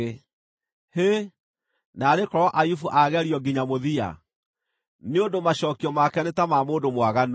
Hĩ, naarĩ korwo Ayubu aagerio nginya mũthia, nĩ ũndũ macookio make nĩ ta ma mũndũ mwaganu!